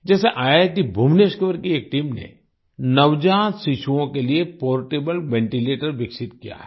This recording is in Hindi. जैसे ईआईटी भुवनेश्वर की एक टीम ने नवजात शिशुओं के लिए पोर्टेबल वेंटीलेटर विकसित किया है